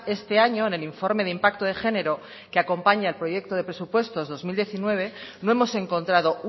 este año en el informe de impacto de género que acompaña al proyecto de presupuestos dos mil diecinueve no hemos encontrado